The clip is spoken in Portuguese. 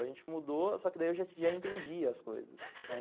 A gente mudou, só que daí eu já já entendia as coisas, né.